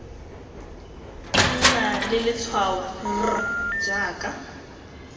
nna le letshwao r jaaka